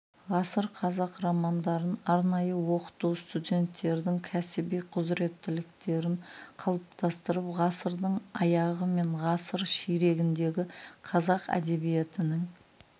ғасыр қазақ романдарын арнайы оқыту студенттердің кәсіби құзыреттіліктерін қалыптастырып ғасырдың аяғы мен ғасыр ширегіндегі қазақ әдебиетінің